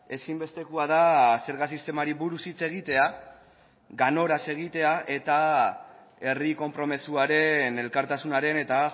ezinbestekoa da zerga sistemari buruz hitz egitea ganoraz egitea eta herri konpromisoaren elkartasunaren eta